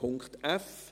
Punkt f